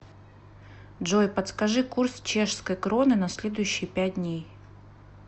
джой подскажи курс чешской кроны на следующие пять дней